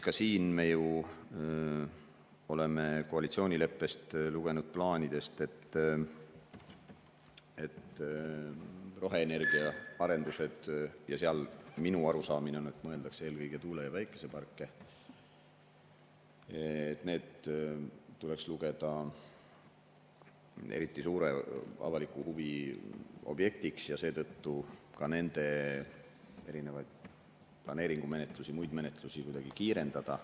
Ka siin me ju oleme koalitsioonileppest lugenud plaanidest, et roheenergiaarendused – minu arusaamine on, et mõeldakse eelkõige tuule‑ ja päikeseparke – tuleks lugeda eriti suure avaliku huvi objektiks ja seetõttu tuleks ka nende erinevaid planeeringumenetlusi ja muid menetlusi kuidagi kiirendada.